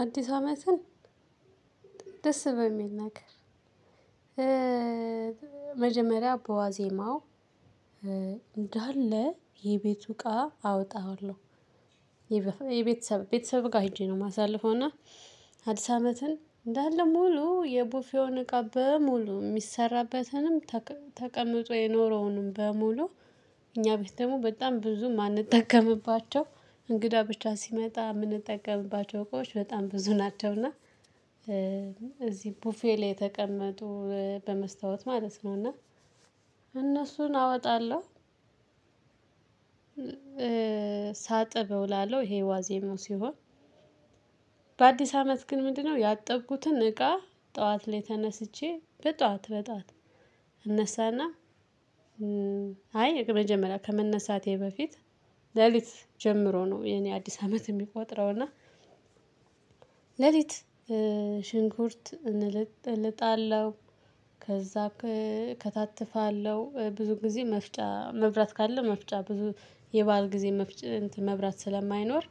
አዲስ አመትን ደስ በሚል ነገር- መጀመሪያ በዋዜማው እንዳለ የቤቱ እቃ አወጣዋለሁ። የቤተሰብ ቤተሰብ ጋር ሄጄ ነው የማሳልፈው። እና- አዲስ አመትን እንዳለ ሙሉ የቡፌውን እቃ በሙሉ የሚሰራበትንም :ተቀምጦ የኖረውንም በሙሉ- እኛ ቤት ደግሞ በጣም ብዙ የማንጠቀምባቸው እንግዳ ብቻ ሲመጣ የምንጠቀምባቸው እቃዎች በጣም ብዙ ናቸው። እና- እዚህ ቡፌ ላይ የተቀመጡ በመስታወት ማለት ነው እና- እነሱን አወጣለሁ ሳጥብ እውላለሁ ይሄ ዋዜመው ሲሆን:- በአዲስ አመት ግን ምንድነው ያጠብኩትን እቃ ጠዋት ላይ ተነስቼ በጠዋት በጠዋት እነሳና አይ መጀመሪያ ከመነሳቴ በፊት ሌሊት ጀምሮ ነው የኔ አዲስ አመት የሚቆጥረው። እና- ለሊት ሽንኩርት እልጣለሁ: ከዛ እከታትፋለሁ ብዙ ጊዜ መፍጫ መብራት ካለ መፍጫ ብዙ የባል ጊዜ መብራት ስለማይኖር